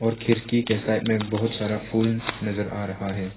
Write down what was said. और खिड़की के साइड में बहुत सारा फुल नजर आ रहा है।